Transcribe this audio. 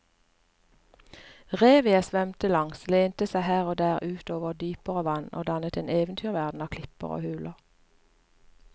Revet jeg svømte langs lente seg her og der ut over dypere vann og dannet en eventyrverden av klipper og huler.